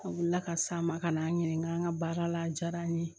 A wulila ka s'a ma ka na n'a ɲininka n ka baara la a diyara n ye